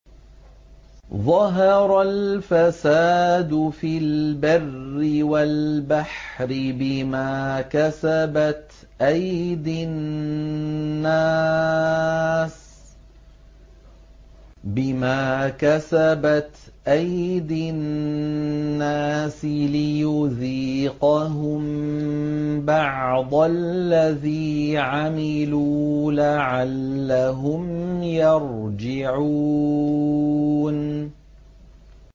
ظَهَرَ الْفَسَادُ فِي الْبَرِّ وَالْبَحْرِ بِمَا كَسَبَتْ أَيْدِي النَّاسِ لِيُذِيقَهُم بَعْضَ الَّذِي عَمِلُوا لَعَلَّهُمْ يَرْجِعُونَ